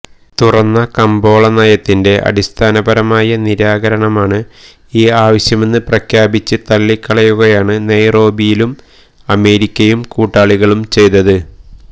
തുറന്ന കമ്പോള നയത്തിന്റെ അടിസ്ഥാനപരമായ നിരാകരണമാണ് ഈ ആവശ്യമെന്ന് പ്രഖ്യാപിച്ച് തള്ളിക്കളയുകയാണ് നെയ്റോബിയിലും അമേരിക്കയും കൂട്ടാളികളും ചെയ്തത്